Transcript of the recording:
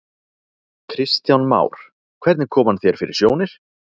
Kristján Már: Hvernig kom hann þér fyrir sjónir?